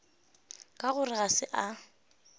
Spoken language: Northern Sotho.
ka gore ga se a